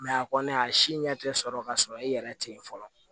a kɔni a si ɲɛ tɛ sɔrɔ ka sɔrɔ i yɛrɛ tɛ yen fɔlɔ